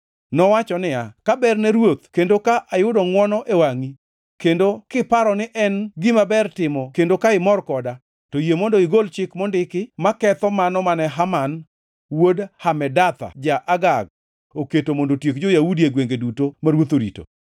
Nowacho niya, “Ka ber ne ruoth kendo ka ayudo ngʼwono e wangʼi kendo kiparo ni en gima ber timo kendo ka imor koda, to yie mondo igol chik mondiki maketho mano mane Haman wuod Hamedatha, ja-Agag oketo mondo otiek jo-Yahudi e gwenge duto ma ruoth orito.